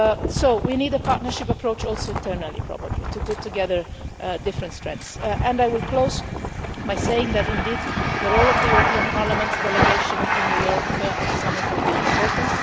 So we need a partnership approach, also internally probably, to put together different strengths, and I will close by saying that indeed the role of the European Parliament's delegation in New York at the summit will be important.